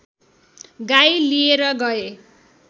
गाई लिएर गए